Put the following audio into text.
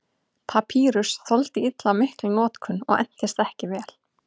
Papýrus þoldi illa mikla notkun og entist ekki vel.